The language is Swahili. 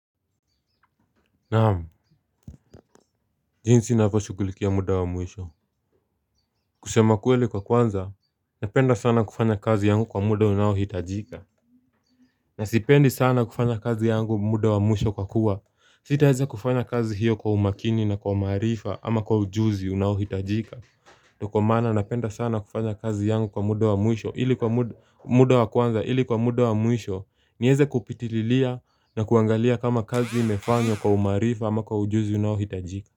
Naam, jinsi ninavyo shughulikia muda wa mwisho. Kusema kweli kwa kwanza, napenda sana kufanya kazi yangu kwa muda unaohitajika. Na sipendi sana kufanya kazi yangu muda wa mwisho kwa kuwa. Sitaweze kufanya kazi hiyo kwa umakini na kwa maarifa ama kwa ujuzi unaohitajika. Ndio maana napenda sana kufanya kazi yangu kwa muda wa mwisho ili kwa muda wa kwanza ili kwa muda wa mwisho. Niweze kupitililia na kuangalia kama kazi imefanywa kwa umaarifa ama kwa ujuzi unaohitajika.